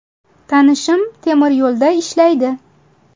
Tanishim temiryo‘lda ishlaydi.